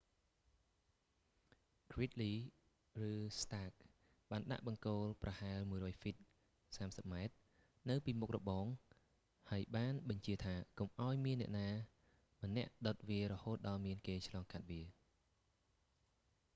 gridley ហ្គ្រីតលី ឬ stark ស្តាក បានដាក់បង្គោលប្រហែល 100 ហ្វីត 30 ម៉ែត្រ នៅពីមុខរបង ហើយបានបញ្ជាថា កុំឱ្យមាននរណាម្នាក់ដុតវារហូតដល់មានគេឆ្លងកាត់វា